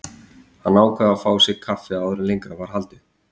Hann ákvað að fá sér kaffi áður en lengra væri haldið.